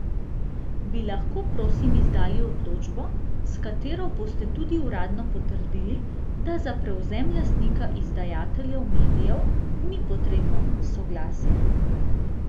Bi lahko, prosim, izdali odločbo, s katero boste tudi uradno potrdili, da za prevzem lastnika izdajateljev medijev ni potrebno soglasje?